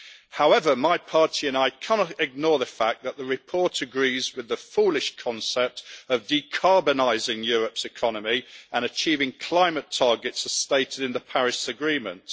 However, my party and I cannot ignore the fact that the report agrees with the foolish concept of decarbonising Europe's economy and achieving climate targets as stated in the Paris Agreement.